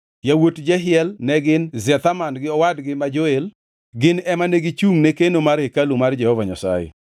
yawuot Jehiel ne gin Zetham gi owadgi ma Joel. Gin ema ne gichungʼne keno mar hekalu mar Jehova Nyasaye.